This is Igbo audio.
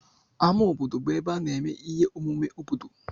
Ámá obodo bụ ebe a na-eme ihe omume obodo.